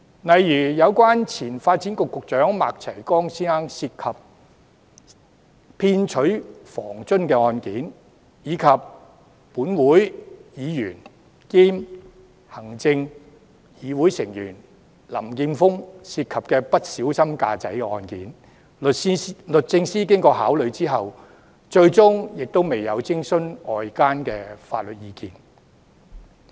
例如，有關前發展局局長麥齊光先生涉及騙取房津的案件，以及本會議員兼行政會議成員林健鋒議員涉及不小心駕駛的案件，律政司經考慮後，最終亦未有徵詢外間法律意見。